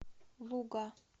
луга